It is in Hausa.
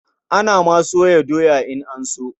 Ana ma soya doya in an so.